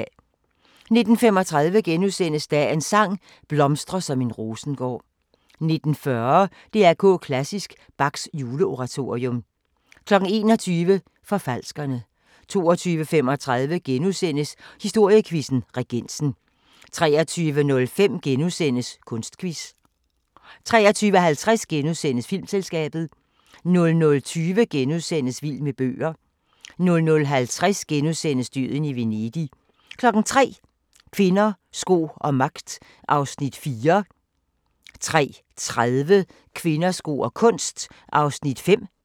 19:35: Dagens sang: Blomstre som en rosengård * 19:40: DR K Klassisk: Bachs Juleoratorium 21:00: Forfalskerne 22:35: Historiequizzen: Regensen * 23:05: Kunstquiz * 23:50: Filmselskabet * 00:20: Vild med bøger * 00:50: Døden i Venedig * 03:00: Kvinder, sko og magt (4:6) 03:30: Kvinder, sko og kunst (5:6)